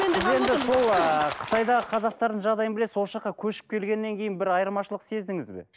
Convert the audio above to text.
сіз енді сол ы қытайдағы қазақтардың жағдайын білесіз осы жаққа көшіп келгеннен кейін бір айырмашылық сездіңіз бе